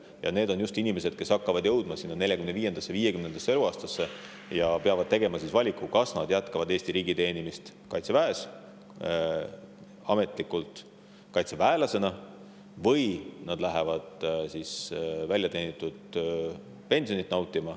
Ja need on just inimesed, kes hakkavad jõudma 45.–50. eluaastasse ja peavad tegema valiku, kas nad jätkavad Eesti riigi teenimist Kaitseväes, ametlikult kaitseväelasena, või nad lähevad väljateenitud pensioni nautima.